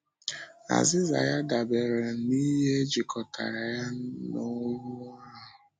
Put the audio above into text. Azịza ya dabeere n’ihe ejikọtara ya na ọnwụ ahụ.